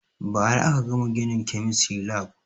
Ba ra aka gama ginin kemistry lab